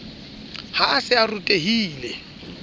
ha a se a rutehile